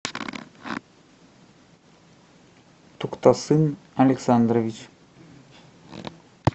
туктасын александрович